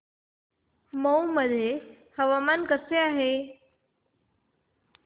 मौ मध्ये हवामान कसे आहे